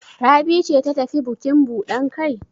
Rabi ce ta tafi bukin buɗan kai?